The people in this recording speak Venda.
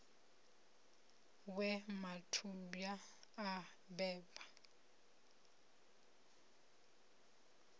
ha we mathubwa a beba